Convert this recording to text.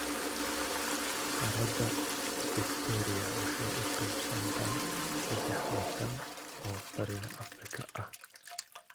Harada Fiktooriya waxay u qaybsantaa saddex waddan oo Bariga Afrika ah.